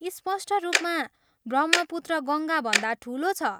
स्पष्ट रूपमा ब्रह्मपुत्र गङ्गाभन्दा ठुलो छ।